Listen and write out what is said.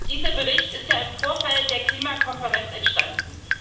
Dieser Bericht ist im Vorfeld der Klimakonferenz entstanden.